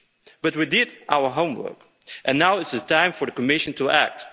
But we did our homework, and now it's time for the Commission to